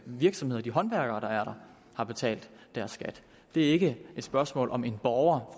virksomheder de håndværkere der er der har betalt deres skat det er ikke et spørgsmål om en borger